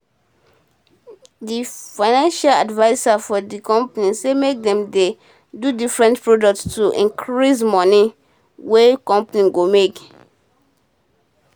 d finance adviser for d company say make dem dey do different product to increase um moni um wey company go make